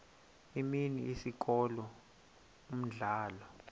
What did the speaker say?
imini isikolo umdlalo